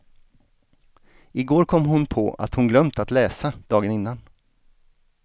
I går kom hon på att hon glömt att läsa dagen innan.